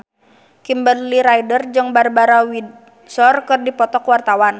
Kimberly Ryder jeung Barbara Windsor keur dipoto ku wartawan